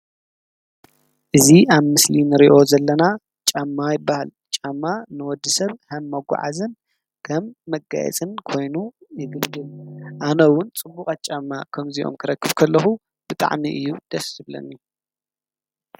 እዚ ኣብ ምስሊ እንሪኦ ዘለና ጫማ ይባሃል፡፡ ጫማ ንወዲሰብ ከም መጓዓዝን ከም መጋየፅን ኮይኑ ይግልገለሉ ፡፡ ኣነ እውን ፅቡቃት ጫማ ከምዚኦም ክረክብ ከለኩ ብጣዕሚ እዩ ደስ ዝብለኒ፡፡